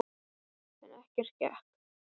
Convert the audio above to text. En ekkert gekk.